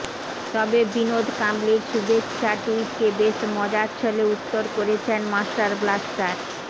তবে বিনোদ কাম্বলির শুভেচ্ছা টুইটকে বেশ মজার ছলে উত্তর করেছেন মাস্টারব্লাস্টার